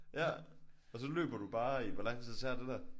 Ja. Og så løber du bare i hvor lang tid tager det der?